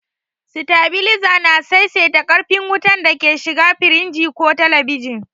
Sitabiliza na saisaita ƙarfin wutar da ke shiga firinji ko telebijin.